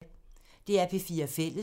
DR P4 Fælles